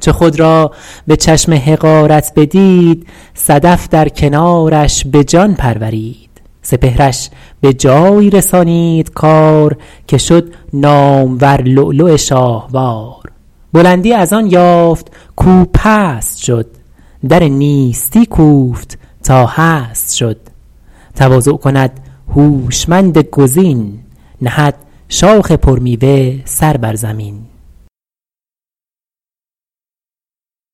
چو خود را به چشم حقارت بدید صدف در کنارش به جان پرورید سپهرش به جایی رسانید کار که شد نامور لؤلؤ شاهوار بلندی از آن یافت کاو پست شد در نیستی کوفت تا هست شد تواضع کند هوشمند گزین نهد شاخ پر میوه سر بر زمین